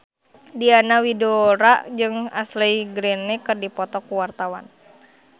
Diana Widoera jeung Ashley Greene keur dipoto ku wartawan